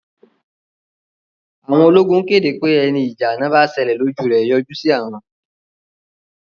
Àwọn ológun kéde pé ẹni ìjà àná bá ṣẹlẹ̀ lójú rẹ̀ yọjú sí àwọn